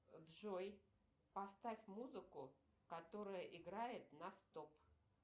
джой поставь музыку которая играет на стоп